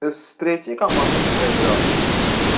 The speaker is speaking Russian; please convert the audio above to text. с третий команды проиграл